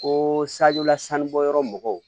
Ko sajɔla sanu bɔ yɔrɔ mɔgɔw